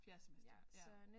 Fjerde semester ja